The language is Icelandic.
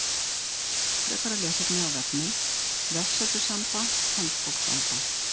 Frekara lesefni af vefnum: Vefsetur Samba Handbók Samba.